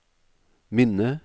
minne